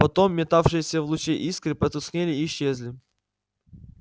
потом метавшиеся в луче искры потускнели и исчезли